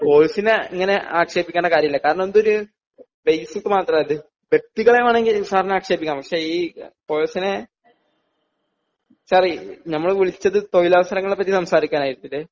course നെ ഇങ്ങനെ ആക്ഷേപിക്കേണ്ട കാര്യമില്ല കാരണം ഇത് ഒരു ബേസിക് മാത്രമാണ് ഇത് വ്യക്തികളെ വേണമെങ്കില് സാറിന് ആക്ഷേപിക്കാം പക്ഷേ ഈ കോഴ്സ് നെ സർ ഞങ്ങള് വിളിച്ചത് തൊഴിലാവസാരങ്ങളെ പറ്റി സംസാരിക്കാനായിട്ടാണ്